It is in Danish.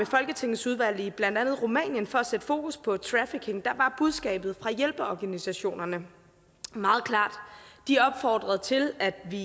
folketingsudvalg i blandt andet rumænien for at sætte fokus på trafficking var budskabet fra hjælpeorganisationerne meget klart og de opfordrede til at vi